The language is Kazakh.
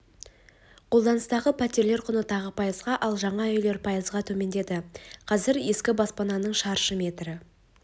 қолданыстағы пәтерлер құны тағы пайызға ал жаңа үйлер пайызға төмендейді қазір ескі баспананың шаршы метрі